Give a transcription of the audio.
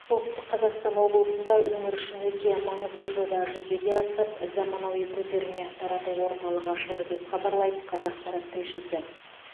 солтүстік қазақстан облысында өңір үшін өте маңызды жоба жүзеге асып заманауи көтерме тарату орталығы ашылды деп хабарлайды қазақпарат тілшісі